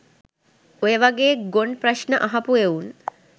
ඔය වගේ ගොන් ප්‍රශ්න අහපු එවුන්